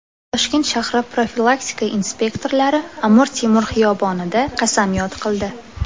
Toshkent shahri profilaktika inspektorlari Amir Temur xiyobonida qasamyod qildi.